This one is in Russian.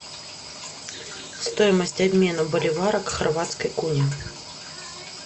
стоимость обмена боливара к хорватской куне